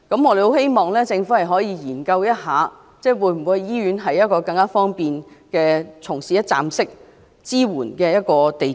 我們期望政府研究在醫院設立一個更方便的一站式支援中心。